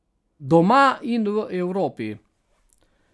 Doma in v Evropi.